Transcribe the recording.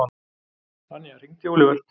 Anja, hringdu í Olivert.